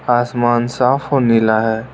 आसमान साफ और नीला है।